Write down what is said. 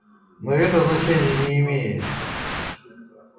но и это значения не имеет